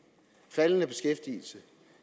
faldende beskæftigelse